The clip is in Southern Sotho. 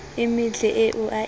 e metle eo a e